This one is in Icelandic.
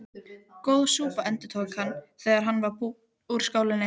Góð súpa endurtók hann, þegar hann var búinn úr skálinni.